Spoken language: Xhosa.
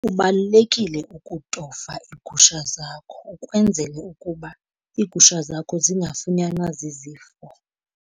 Kubalulekile ukutofa iigusha zakho ukwenzele ukuba iigusha zakho zingafunyanwa zizifo.